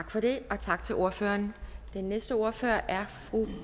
tak for det og tak til ordføreren den næste ordfører er fru